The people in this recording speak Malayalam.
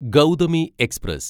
ഗൗതമി എക്സ്പ്രസ്